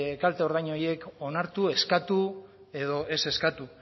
kalte ordain horiek onartu eskatu edo ez eskatu